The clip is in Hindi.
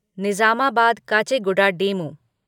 निजामाबाद काचेगुडा डेमू